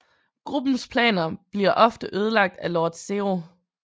Gruppens planer bliver ofte ødelagt af Lord Zero